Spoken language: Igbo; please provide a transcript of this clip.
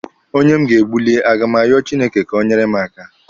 Onye m ga-egbuli, a ga m arịọ Chineke ka o nyeere m aka?